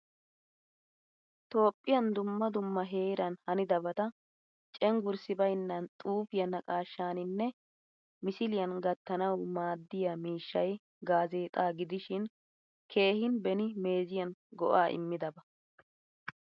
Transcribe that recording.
Toophphiyan dumma dumma heeran hanidabata cenggurssi baynnan xuufiya naaqashshaanine misiliyan gattanawu maadiyaa miishshay gaazexxaa gidishin keehin beni meeziyan go'a immidaba.